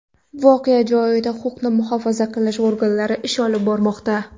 Voqea joyida huquqni muhofaza qilish organlari ish olib bormoqda.